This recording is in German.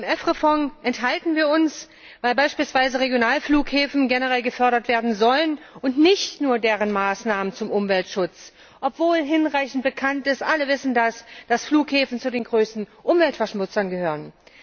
Beim EFRE Fonds enthalten wir uns, weil beispielsweise Regionalflughäfen generell gefördert werden sollen und nicht nur deren Maßnahmen zum Umweltschutz, obwohl hinreichend bekannt ist alle wissen das dass Flughäfen zu den größten Umweltverschmutzern gehören.